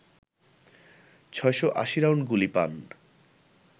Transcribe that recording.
৬৮০ round গুলি পান